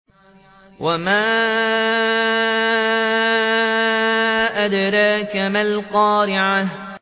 وَمَا أَدْرَاكَ مَا الْقَارِعَةُ